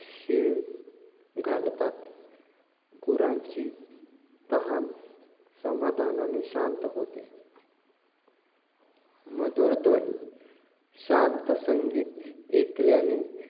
शीळ घालतात. गुरांची तहान समाधानाने शांत होते. मधुर ध्वनी, शांत संगीत ऐकल्याने,